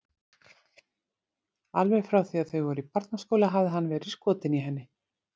Alveg frá því að þau voru í barnaskóla hafði hann verið skotinn í henni.